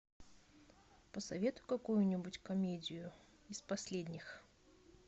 посоветуй какую нибудь комедию из последних